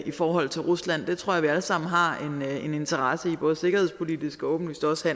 i forhold til rusland det tror jeg vi alle sammen har en interesse i både sikkerhedspolitisk og åbenlyst også